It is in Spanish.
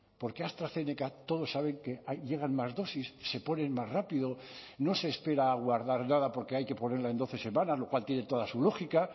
porque astrazeneca todos saben que llegan más dosis se ponen más rápido no se espera a guardar nada porque hay que ponerla en doce semanas lo cual tiene toda su lógica